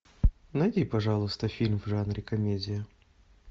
найди пожалуйста фильм в жанре комедия